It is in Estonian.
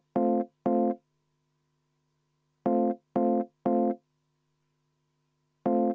Ma palun seda muudatusettepanekut hääletada!